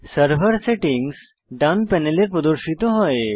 server settings ডান প্যানেলে প্রদর্শিত হয়